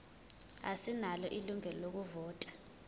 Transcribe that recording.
asinalo ilungelo lokuvota